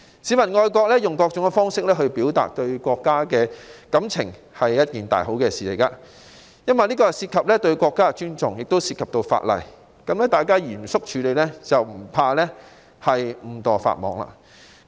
市民基於愛國情懷，以各種方式表達對國家的感情，是一件天大好事，因這既涉及對國家的尊重，也涉及法例，只要嚴肅處理，便不用害怕誤墮法網。